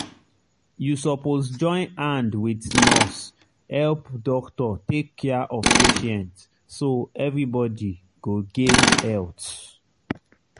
you suppose join hand wit nurse help doctor take care of patient so everybody go gain health.